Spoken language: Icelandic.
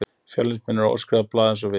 Fjölnismenn eru óskrifað blað eins og við.